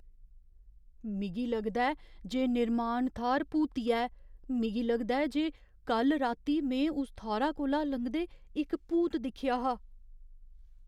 मिगी लगदा ऐ जे निर्माण थाह्‌र भूतिया ऐ। मिगी लगदा ऐ जे कल्ल राती में उस थाह्‌रा कोला लंघदे इक भूत दिक्खेआ हा।